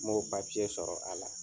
M'o sɔrɔ a la.